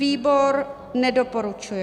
Výbor nedoporučuje.